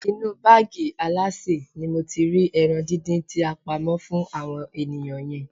Inú báàgì alásè ni mo ti rí ẹran díndín tí a pamọ́ fún àwọn ènìyàn yẹn.